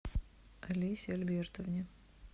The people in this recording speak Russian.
олесе альбертовне